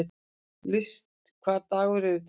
List, hvaða dagur er í dag?